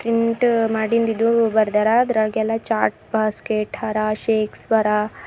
ಪೆಂಟ್ ಮಾಡಿಂದ ಇದು ಬರದಾರ ಅದರಾಗ ಎಲ್ಲಾ ಚಾಟ್ ಬಾಸ್ಚ್ಕೆಟ್ ಹರಾಶೆ ಸ್ಪರಾ--